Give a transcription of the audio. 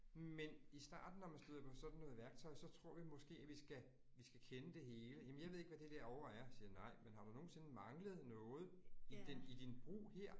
Men i starten når man støder på sådan noget værktøj, så tror vi måske, at vi skal vi skal kende det hele. Jamen jeg ved ikke, hvad det derovre er siger nej, men har du nogensinde manglet noget i din i din brug her?